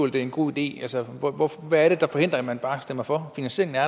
det er en god idé altså hvad er det der forhindrer at man bare stemmer for finansieringen er